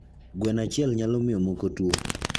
gweno achiel nyalo miyo moko tuo